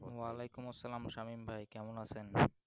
ওয়ালাইকুম আসসালাম সামীম ভাই কেমন আছেন